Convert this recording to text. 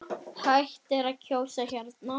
Hægt er að kjósa hérna.